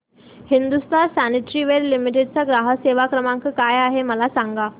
Hindustan sanitaryware limited चा ग्राहक सेवा क्रमांक काय आहे मला सांगा